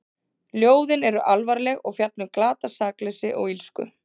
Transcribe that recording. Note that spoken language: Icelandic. Ljóðin eru alvarleg og fjalla um glatað sakleysi og illsku.